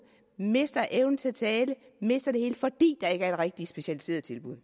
mister evnen til at tale mister det hele fordi der ikke er det rigtige specialiserede tilbud